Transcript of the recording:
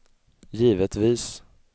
givetvis